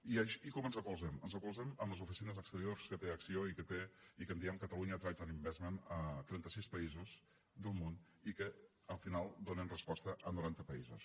i com ens recolzem ens recolzem amb les oficines exteriors que té acció i que en diem catalonia trade investment a trenta sis països del món i que al final donen resposta a noranta països